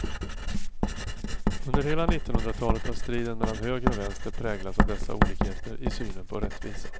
Under hela nittonhundratalet har striden mellan höger och vänster präglats av dessa olikheter i synen på rättvisa.